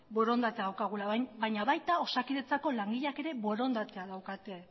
borondatea daukagula baina baita osakidetzako langileak ere borondatea daukate